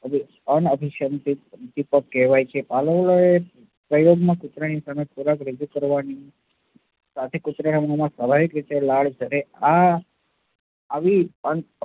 અનઅભીસંધિત ઉદ્દીપક કહેવાય છે. પાઉલોએ પ્રયોગમાં કૂતરાની સામે ખોરાક રજુ કરવાની સાથે કૂતરામાં સ્વાભાવિક રીતે લાળ ઝરે આ આવી